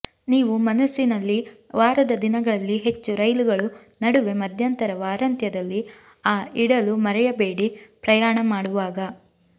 ನೀವು ಮನಸ್ಸಿನಲ್ಲಿ ವಾರದ ದಿನಗಳಲ್ಲಿ ಹೆಚ್ಚು ರೈಲುಗಳು ನಡುವೆ ಮಧ್ಯಂತರ ವಾರಾಂತ್ಯದಲ್ಲಿ ಆ ಇಡಲು ಮರೆಯಬೇಡಿ ಪ್ರಯಾಣ ಮಾಡುವಾಗ